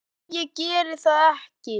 En ég geri það ekki.